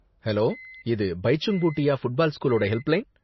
Hello, இது பைச்சுங் Bhutia football ஸ்கூலோட ஹெல்ப்லைன்.